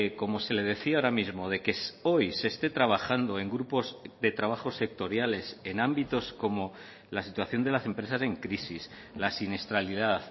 como se le decía ahora mismo de que hoy se esté trabajando en grupos de trabajos sectoriales en ámbitos como la situación de las empresas en crisis la siniestralidad